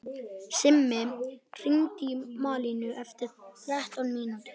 Simmi, hringdu í Malínu eftir þrettán mínútur.